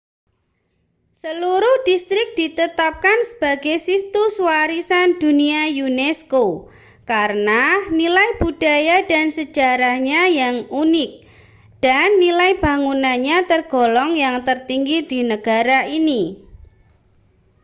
seluruh distrik ditetapkan sebagai situs warisan dunia unesco karena nilai budaya dan sejarahnya yang unik dan nilai bangunannya tergolong yang tertinggi di negara ini